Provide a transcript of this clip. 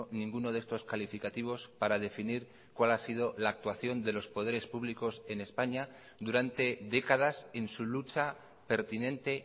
ninguno de estos calificativos para definir cuál ha sido la actuación de los poderes públicos en españa durante décadas en su lucha pertinente